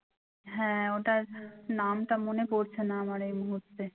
হ্যাঁ ওটার নামটা আমার মনে পরছে না আমার এই মুহুর্তে